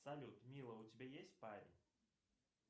салют мила у тебя есть парень